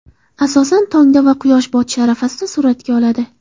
Asosan tongda va quyosh botishi arafasida suratga oladi.